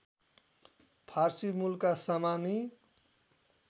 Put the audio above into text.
फारसी मूलका सामानी